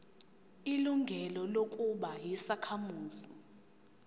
ilungelo lokuba yisakhamuzi